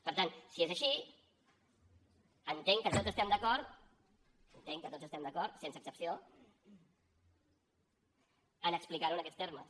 per tant si és així entenc que tots estem d’acord entenc que tots hi estem d’acord sense excepció a explicar ho en aquests termes